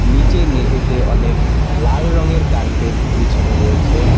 নীচে মেঝেতে অনেক লাল রঙের কার্পেট বিছানো রয়েছে।